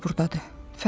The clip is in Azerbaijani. Daya da burdadır.